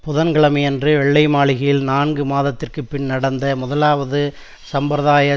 புதன்கிழமையன்று வெள்ளை மாளிகையில் நான்கு மாதத்திற்குப்பின் நடந்த முதலாவது சம்பிரதாய